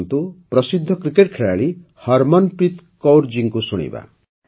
ଆସନ୍ତୁ ଏବେ ପ୍ରସିଦ୍ଧ କ୍ରିକେଟ ଖେଳାଳି ହରମନପ୍ରୀତ୍ କୌର୍ ଜୀଙ୍କୁ ଶୁଣିବା